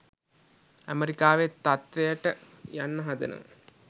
ඇමෙරිකාවේ තත්ත්වයට යන්න හදනවා.